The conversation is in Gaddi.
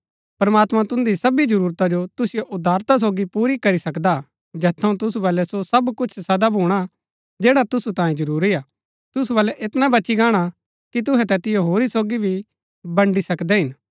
प्रमात्मां तुन्दी सबी जरूरता जो तुसिओ उदारता सोगी पुरा करी सकदा हा जैत थऊँ तुसु बलै सो सब कुछ सदा भूणा जैड़ा तुसु तांयै जरूरी हा तुसु बलै ऐतना बची गाणा कि तुहै तैतिओ होरी सोगी भी बड़ी सकदै हिन